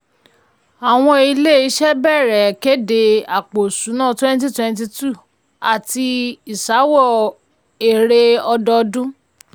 àwọn ilé-iṣẹ́ bẹ̀rẹ̀ kéde àpò ìṣúná ytwenty twenty two àti ìsawó èrè ọdọọdún.